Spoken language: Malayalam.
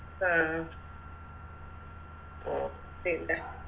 ആഹ് ആഹ് അഹ് പിന്നെ